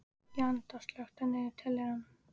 Jenetta, slökktu á niðurteljaranum.